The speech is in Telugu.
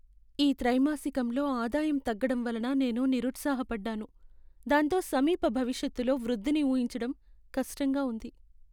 ఈ త్రైమాసికంలో ఆదాయం తగ్గడం వలన నేను నిరుత్సాహపడ్డాను, దాంతో సమీప భవిష్యత్తులో వృద్ధిని ఊహించడం కష్టంగా ఉంది.